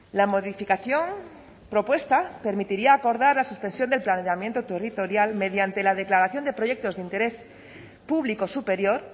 la modificación propuesta permitiría acordar la suspensión del planeamiento territorial mediante la declaración de proyectos de interés público superior